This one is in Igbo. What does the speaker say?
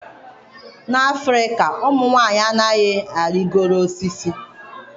N'Afrịka ụmụ nwanyị anaghị arịgoro osisi